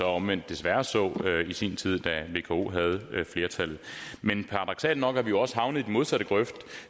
omvendt desværre så i sin tid da vko havde flertallet men paradoksalt nok er vi jo også havnet i den modsatte grøft